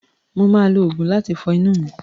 Mọ máa lo oògùn láti fọ inú mi.